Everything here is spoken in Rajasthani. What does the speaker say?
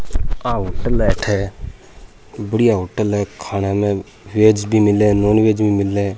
आ होटल है अठ बढ़िया होटल है खाना मे बेज मिले है नोनवेज भी मिले है।